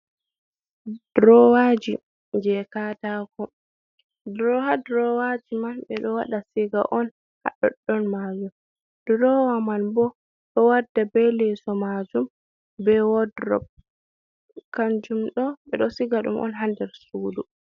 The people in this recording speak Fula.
Droowaji, jey kaataako, haa droowaaji man ɓe ɗo waɗa siga on, haa ɗoɗɗon majum, droowa man boo ɗo warda bee leeso majum bee wodrob, kanjum ɗo ɓe ɗon siga ɗum on haa nder suudu.